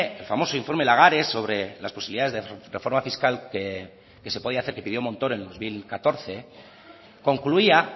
el famoso informe lagares sobre las posibilidades de reforma fiscal que se podía hacer que pidió montoro en dos mil catorce concluía